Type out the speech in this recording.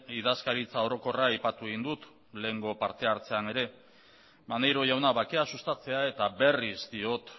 idazkaritza orokorra aipatu egin dut lehengo partehartzean ere maneiro jauna bakea sustatzea eta berriz diot